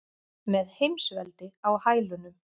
Með heimsveldi á hælunum.